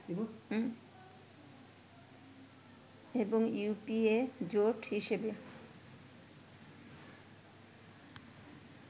এবং ইউপিএ জোট হিসাবে